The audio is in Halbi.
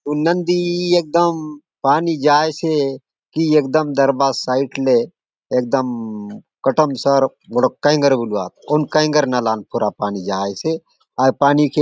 हुन नदी एकदम पानी जायेसे कि एकदम दरभा साइड ले एकदम कोटोमसर गोटोक कयगर बोलुआत कोन कयगर नाला ने पूरा पानी जायेसे अउर पानी के --